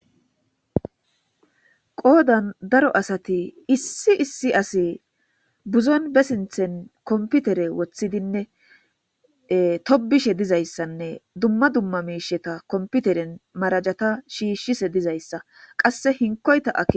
Qoodan daro asati issi issi asi buzon ba sinthen komputere woththidinne tobishe diza issanne dumma dumma mishata komputeren marajata shiishshishe diza issa qasse hinkoyta dees.